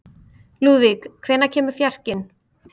Lúðvík, hvenær kemur fjarkinn?